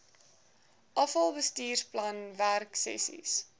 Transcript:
afal bestuursplan werksessies